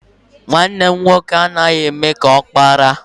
Nwanne m nwoke anaghị eme ka ọkpara.